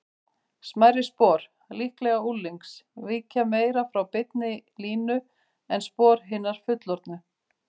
Smærri spor, líklega unglings, víkja meira frá beinni línu en spor hinna fullorðnu.